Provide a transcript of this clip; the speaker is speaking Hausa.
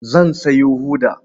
Zan sayo hoda.